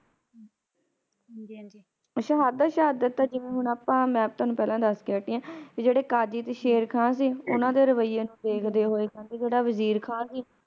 ਸ਼ਹਾਦਤ ਸ਼ਹਾਦਤ ਤਾ ਜਿਵੇ ਹੁਣ ਅੱਪਾ ਮੈਂ ਤੋਹਾਨੂ ਪਹਿਲਾ ਦਸ ਕੇ ਹੱਟੀ ਆ ਵੀ ਜਿਹੜੇ ਕਾਜੀ ਸ਼ੇਰ ਖਾ ਸੀ ਓਹਨਾ ਦੇ ਰਵਈਏ ਨੂੰ ਦੇਖਦੇ ਹੋਏ ਤੇ ਜਿਹੜਾ ਵਜ਼ੀਰ ਖਾ ਸੀ